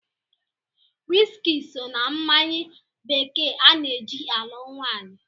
Wiski so na mmanya bekee ana-eji alụ nwaanyị.